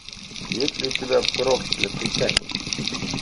есть ли у тебя проклятый камень